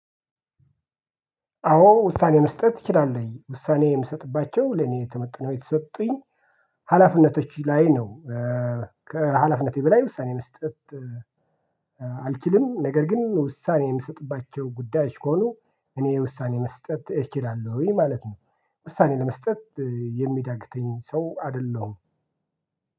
አዎ ውሳኔ መስጠት እችላለሁኝ ውሳኔ የምሰጥባቸው ለኔ ተመጠነው የተሰጡኝ ሀላፍነቶች ላይ ነው ከሀላፍነቴ በላይ ውሳኔ መስጠት። አልችልም ነገር ግን ውሳኔ የምሰጥባቸው ጉዳዮች ከሆኑ እኔ ውሳኔ መስጠት እችላለሁኝ ማለት ነው። ውሳኔ ለመስጠት የሚዳግተኝ ሰው አደለሁም